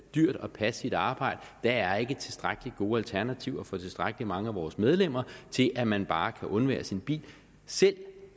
dyrt at passe sit arbejde der er ikke tilstrækkelig gode alternativer for tilstrækkelig mange af vores medlemmer til at man bare kan undvære sin bil selv